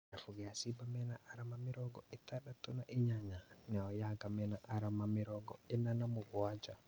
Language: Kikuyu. Kĩrabu gĩa Simba mena arama mĩrongo ĩtandatũ na inyanya nayo Yanga mena arama mena arama mĩrongo ĩna na mũgwanja